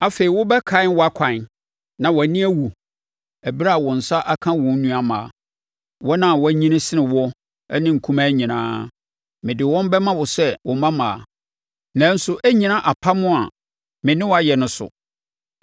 Afei wobɛkae wʼakwan na wʼani awu ɛberɛ a wo nsa aka wo nuammaa; wɔn a wɔanyini sene woɔ ne nkumaa nyinaa. Mede wɔn bɛma wo sɛ wo mmammaa, nanso ɛrennyina apam a me ne wo ayɛ no so.